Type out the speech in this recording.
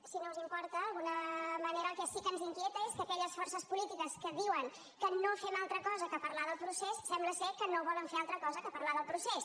si no us importa d’alguna manera el que sí que ens inquieta és que aquelles forces polítiques que diuen que no fem altra cosa que parlar del procés sembla ser que no volen fer altra cosa que parlar del procés